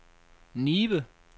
Nibe